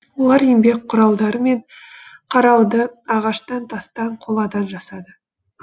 олар еңбек құралдары мен қарауды ағаштан тастан қоладан жасады